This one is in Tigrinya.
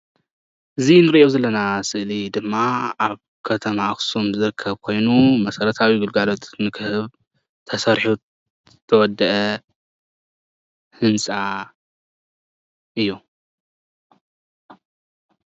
እዚ እንሪኦ ዘለና ስእሊ ድማ አብ ከተማ ኣክሱም ዝርከብ ኮይኑ መሰረታዊ ግልገሎት ንክህብ ተሰሪሑ ዝተወድአ ህንፃ እዩ፡፡